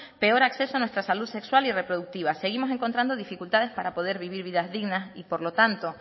peor acceso a nuestra salud sexual y reproductiva seguimos encontrando dificultades para poder vivir vidas dignas y por lo tanto